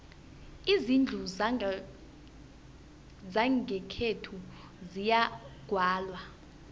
izindlu zangakwethu ziyagwalwa